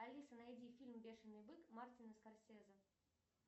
алиса найди фильм бешеный бык мартина скорсезе